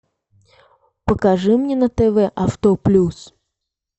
покажи мне на тв авто плюс